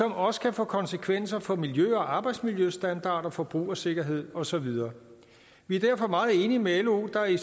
også kan få konsekvenser for miljø og arbejdsmiljøstandarder og forbrugersikkerhed og så videre vi er derfor meget enige med lo der i